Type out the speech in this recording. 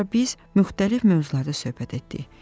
Sonra biz müxtəlif mövzularda söhbət etdik.